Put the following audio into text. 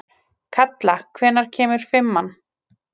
Kalla, hvenær kemur fimman?